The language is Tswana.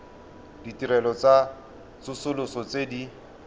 ditirelo tsa tsosoloso tse di